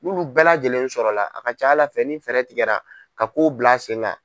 N'olu bɛɛ lajɛlen sɔrɔla a ka ca Ala fɛ ni fɛɛrɛ tigɛra ka kow bila sen kan